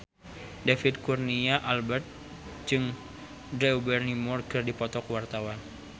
David Kurnia Albert jeung Drew Barrymore keur dipoto ku wartawan